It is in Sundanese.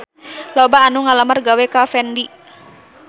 Loba anu ngalamar gawe ka Fendi